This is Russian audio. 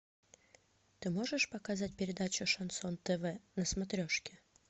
ты можешь показать передачу шансон тв на смотрешке